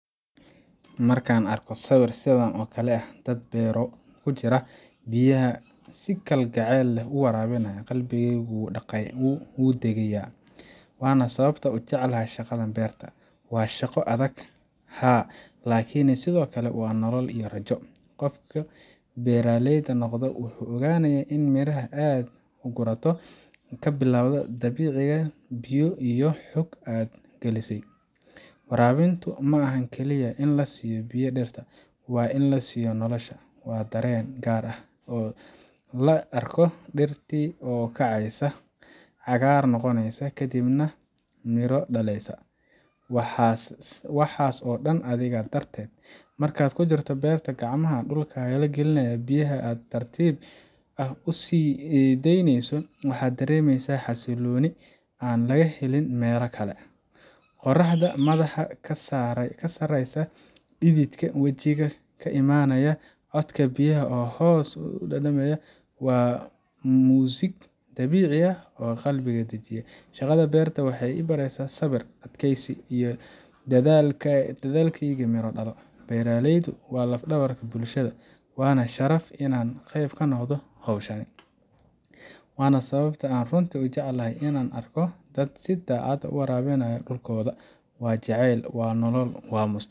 Markaan arko sawir sidan oo kale ah, dad beero ku jira, biyaha si kalgacal leh u waraabinaya, qalbigaygu wuu degayaa. Waana sababta aan u jecelahay shaqada beerta. Waa shaqo adag, haa, laakiin sidoo kale waa nolol iyo rajo. Qofkii beeraley noqda wuu ogyahay in miraha aad gurato ay ka bilowdaan dhibic biyo ah iyo xoog aad galisay. Waraabintu ma ahan kaliya in la siiyo biyo dhirta, waa in la siiyo nolosha. Waa dareen gaar ah in la arko dhirtii oo kacaysa, cagaar noqonaysa, kadibna midho dhalaysa waxaas oo dhan adiga darteed. Markaad ku jirto beerta, gacmahaaga dhulka la geliya, biyaha aad si tartiib ah u sii deynayso, waxaad dareemaysaa xasillooni aan laga helin meel kale. Qorraxda madaxa kaa saaraysa, dhididka wajiga ka imanaya, codka biyaha oo hoos u daadanaya waa muusig dabiici ah oo qalbiga dejiya. Shaqada beerta waxay i baraysaa sabir, adkeysi, iyo inay dadaalkayga miro dhalo. Beeraleydu waa laf dhabarta bulshada, waana sharaf inaan qayb ka noqdo hawshan. Waana sababta aan runtii u jeclahay inaan arko dad si daacad ah u waraabinaya dhulkooda. Waa jacayl, waa nolol, waa